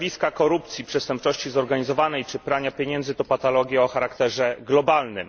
Zjawiska korupcji, przestępczości zorganizowanej czy prania pieniędzy to patologia o charakterze globalnym.